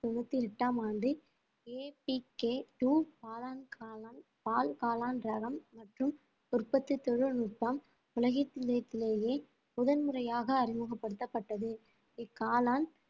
தொண்ணூத்தி எட்டாம் ஆண்டு காளான் காளான் பால் காளான் ரகம் மற்றும் உற்பத்தி தொழில்நுட்பம் உலகத்திலேயே முதன்முறையாக அறிமுகப்படுத்தப்பட்டது இக்காளான்